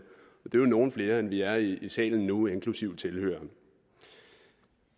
og det nogle flere end vi er i salen nu inklusive tilhørere